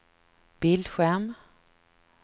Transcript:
bildskärm